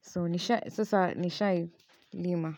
so sasa nishai lima.